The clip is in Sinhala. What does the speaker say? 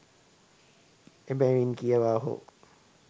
එබැවින් කියවා හෝ